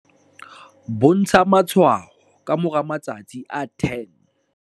bontsha matshwao ka moramatsatsi a 10?